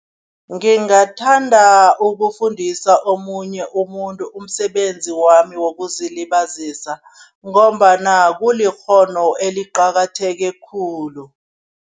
Ngingathanda ukufundisa omunye umuntu umsebenzi wami wokuzilibazisa ngombana kulikghono eliqakatheke khulu.